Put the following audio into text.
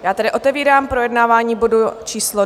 Já tedy otevírám projednávání bodu číslo